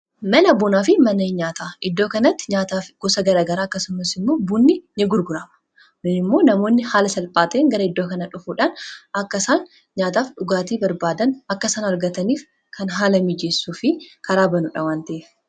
mana bunaa fi mana nyaataa iddoo kanatti nyaata gosa gara garaa akkasummas immoo buunni in gurgurama. namoonni haala salphaa ta, een gara iddoo kana dhufuudhaan akka isaan nyaataaf dhugaatii barbaadan akka isaan argataniif kan haala mijeessuu fi karaa banuudha .